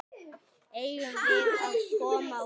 Eigum við að koma út?